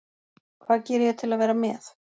Hvað geri ég til að vera með?